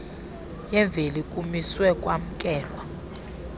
yemveli kumiswe kwamkelwa